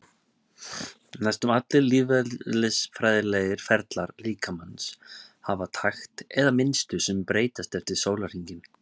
Næstum allir lífeðlisfræðilegir ferlar líkamans hafa takt eða mynstur sem breytist yfir sólarhringinn.